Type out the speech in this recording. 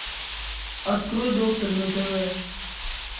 открой доктор на тв